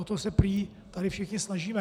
O to se prý tady všichni snažíme.